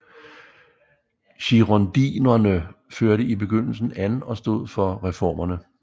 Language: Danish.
Girondinerne førte i begyndelsen an og stod for reformerne